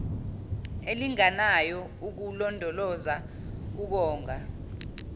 elinganayo ukulondoloza ukonga